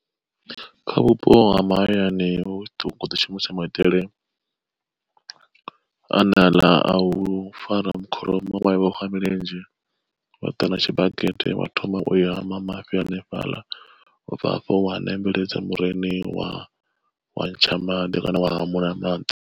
Kha vhupo ha mahayani hu khoḓi shumisa maitele ane aḽa a u fara kholomo wa i vhofha milenzhe wa ḓa na tshibakete wa thoma ui hama mafhi hanefhaḽa ubva hafho wa ṋembeledza muriniwa ntsha maḓi kana wa hamuliwa maḓi.